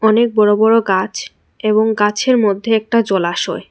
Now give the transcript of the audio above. অনেক বড় বড় গাছ এবং গাছের মধ্যে একটা জলাশয়।